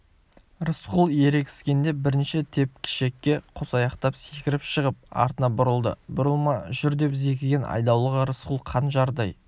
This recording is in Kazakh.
рысқұл ерегіскенде бірінші тепкішекке қосаяқтап секіріп шығып артына бұрылды бұрылма жүр деп зекіген айдауылға рысқұл қанжардай